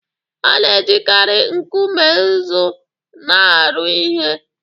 A na-ejikarị nkume nzu na-arụ ihe